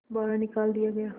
बाहर निकाल दिया गया